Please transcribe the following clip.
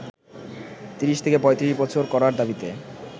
৩০ থেকে ৩৫ বছর করার দাবিতে